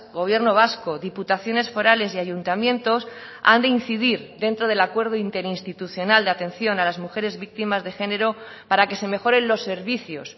gobierno vasco diputaciones forales y ayuntamientos han de incidir dentro del acuerdo interinstitucional de atención a las mujeres víctimas de género para que se mejoren los servicios